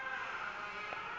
ka šedi o se fe